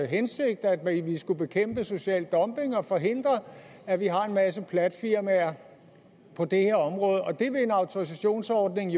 hensigt at vi skulle bekæmpe social dumping og forhindre at vi har en masse platfirmaer på det her område og en autorisationsordning